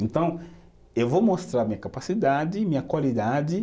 Então, eu vou mostrar minha capacidade, minha qualidade.